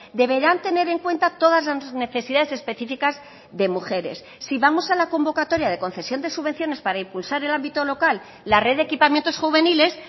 deberán tener en cuenta todas las necesidades específicas de mujeres si vamos a la convocatoria de concesión de subvenciones para impulsar el ámbito local la red de equipamientos juveniles